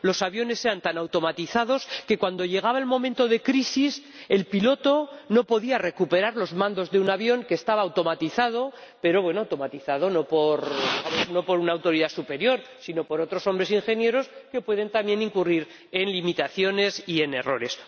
Los aviones eran tan automatizados que cuando llegaba el momento de crisis, el piloto no podía recuperar los mandos de un avión que estaba automatizado, pero automatizado no por una autoridad superior, sino por otros hombres ingenieros que pueden también incurrir en limitaciones y en errores.